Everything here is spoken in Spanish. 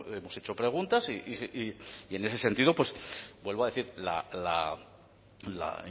hemos hecho preguntas y en ese sentido vuelvo a decir la